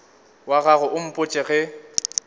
wa gago o mpotše ge